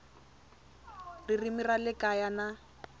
ririmi ra le kaya na